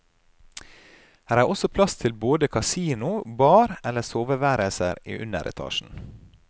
Her er også plass til både kasino, bar eller soveværelser i underetasjen.